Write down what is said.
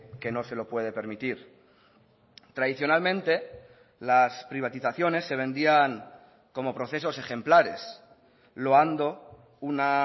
que no se lo puede permitir tradicionalmente las privatizaciones se vendían como procesos ejemplares loando una